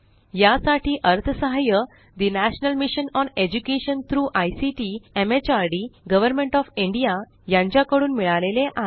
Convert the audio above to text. यासाठी अर्थसहाय्य national mission on education through ICT MHRD government of India यांच्याकडून मिळालेले आहे